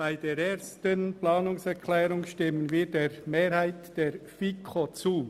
Bei der Planungserklärung 1 stimmen wir der Mehrheit der FiKo zu.